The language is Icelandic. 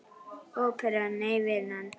Óperan, nei vinan.